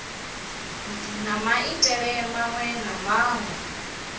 na maitele maṅwe na maṅwe